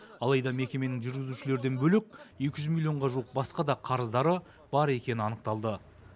алайда мекеменің жүргізушілерден бөлек екі жүз миллионға жуық басқа да қарыздары бар екені анықталды